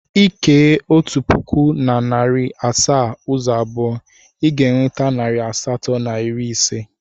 Ị kee otu pụkụ na narị asaa ụzọ abụọ, ị ga-enweta narị asatọ na iri ise.